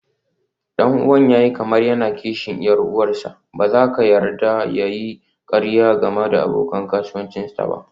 Ɗan'uwan ya yi kamar yana kishin 'yar uwarsa, ba za ka yarda ya yi ƙarya ga abokan kasuwancinta ba.